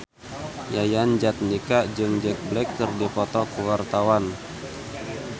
Yayan Jatnika jeung Jack Black keur dipoto ku wartawan